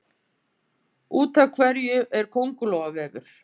Úr hverju er köngulóarvefur?